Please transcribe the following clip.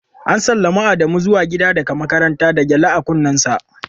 ​​An sallami Adamu zuwa gida daga makaranta da gyale a kunnensa.